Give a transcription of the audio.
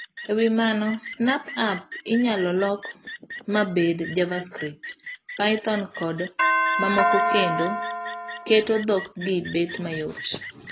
Ewi mano, Snap app inyalo lok mabed Javascript ,Python kod mamokokendo keto dhok gi bet mayot.